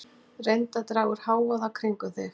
Reyndu að draga úr hávaða kringum þig.